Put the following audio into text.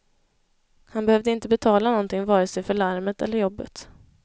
Han behövde inte betala någonting vare sig för larmet eller jobbet.